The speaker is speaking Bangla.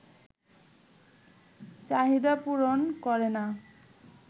চাহিদা পূরণ করে না